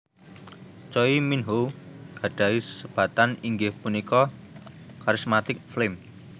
Choi Minho gadhahi sebatan inggih punika Charismatic Flame